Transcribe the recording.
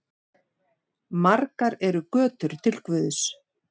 Margar eru götur til guðs.